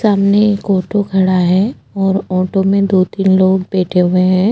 सामने एक ऑटो खड़ा है और ऑटो में दो तीन लोग बैठे हुए हैं।